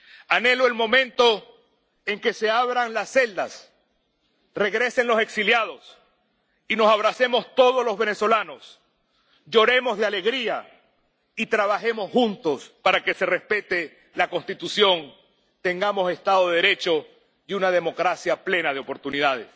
Anhelo el momento en que se abran las celdas, regresen los exiliados y nos abracemos todos los venezolanos, lloremos de alegría y trabajemos juntos para que se respete la Constitución, tengamos Estado de Derecho y una democracia plena de oportunidades.